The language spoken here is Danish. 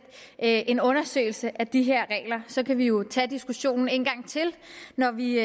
en undersøgelse af de her regler så kan vi jo tage diskussionen en gang til når vi